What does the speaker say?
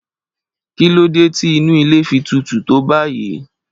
Kí ló dé tí inú ilé fi tutù tó báyìí?